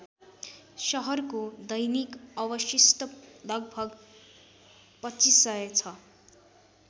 सहरको दैनिक अवशिष्ट लगभग २५०० छ ।